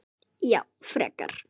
Já frekar.